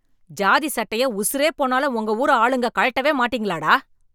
சாதி சட்டைய உசுரே போனாலும் உங்க ஊரு ஆளுக கழட்டவே மாட்டீங்களா, டா